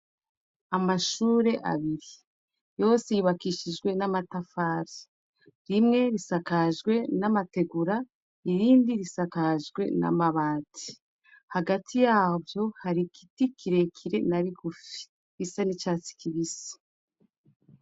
Amashure abiri. Yose yubakishijwe n'amatafari. Rimwe risakajwe n'amategura, irindi risakajwe n'amabati. Hagati yavyo hari igiti kirekire na rigufi gisa n'icatsi kibisi.